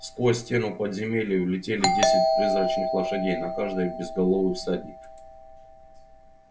сквозь стену в подземелье влетели десять призрачных лошадей на каждой безголовый всадник